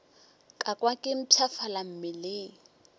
ka kwa ke mpshafala mmeleng